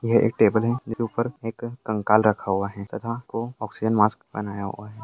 यह एक टेबल है जिसके ऊपर एक कंकाल रखा हुआ है तथा को ऑक्सीजन मास्क पहनाया हुआ है।